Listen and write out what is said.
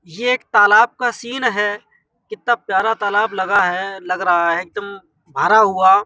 ये एक तालाब का सीन है कित्ता प्यारा तालाब लगा है लग रहा है एक दम भरा हुआ ।